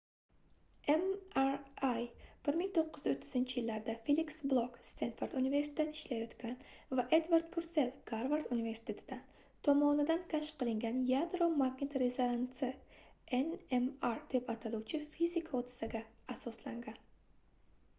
mri 1930-yillarda feliks blok stenford universitetida ishlayotgan va edvard pursell garvard universitetidan tomonidan kashf qilingan yadro-magnit rezonansi nmr deb ataluvchi fizik hodisaga asoslangan